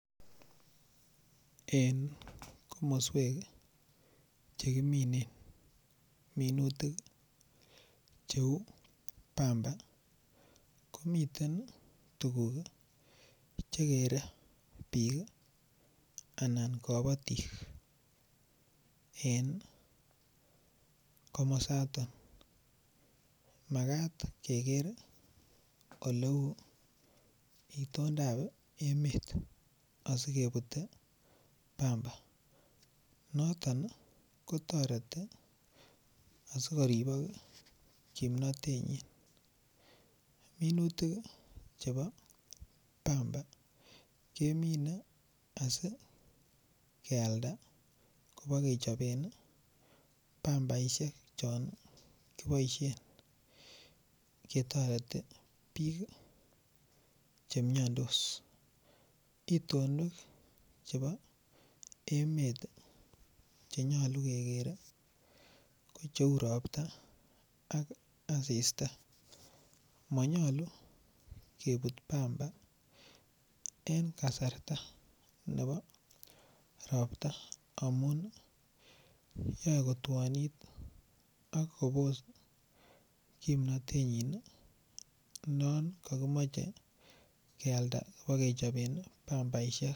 En komoswek Che kiminen minutik cheu pamba komiten tuguk Che kere bik Anan kabatik en komosaton Makat keker oleu itondap emet asi kebute pamba noton ko toreti asi koribok kimnatenyi minutik chebo pamba kemine asi kealda kobo kechoben pambaisiek chon kiboisien ketoreti bik Che miandos itonwek chebo emet Che nyolu keger ko cheu Ropta ak asista mo nyolu kebut pamba en kasarta nebo Ropta amun yoe kotwonit ak kobos kimnatenyi yon kokimoche kealda kibokechoben pambaisiek